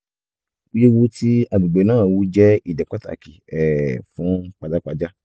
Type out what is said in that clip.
wíwú tí agbègbè náà wú jẹ́ ìdí pàtàkì um fún pajápajá